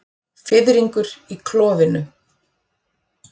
Fiðringur í klofinu.